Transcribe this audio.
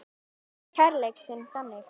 Þú sýndir kærleik þinn þannig.